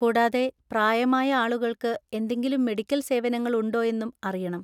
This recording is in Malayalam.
കൂടാതെ, പ്രായമായ ആളുകൾക്ക് എന്തെങ്കിലും മെഡിക്കൽ സേവനങ്ങൾ ഉണ്ടോ എന്നും അറിയണം.